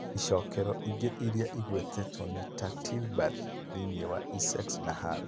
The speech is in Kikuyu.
Icookero ingĩ irĩa igwetetwo nĩ ta Tilbury thĩinĩ wa Essex, na Hull.